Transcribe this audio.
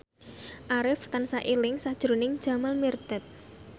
Arif tansah eling sakjroning Jamal Mirdad